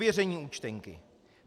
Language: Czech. Ověření účtenky.